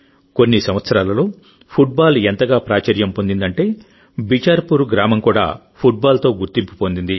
కొన్ని సంవత్సరాలలో ఫుట్బాల్ ఎంతగా ప్రాచుర్యం పొందిందంటే బిచార్పూర్ గ్రామం కూడా ఫుట్బాల్తో గుర్తింపు పొందింది